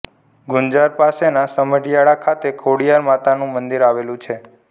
ગુંજાર પાસેના સમઢીયાળા ખાતે ખોડીયાર માતાનું મંદિર આવેલું છે